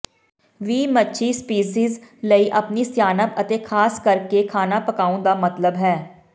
ਵੀ ਮੱਛੀ ਸਪੀਸੀਜ਼ ਲਈ ਆਪਣੀ ਸਿਆਣਪ ਅਤੇ ਖਾਸ ਕਰਕੇ ਖਾਣਾ ਪਕਾਉਣ ਦਾ ਮਤਲਬ ਹੈ